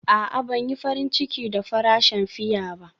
A'a, Ban yi farin ciki da farashin fiya ba.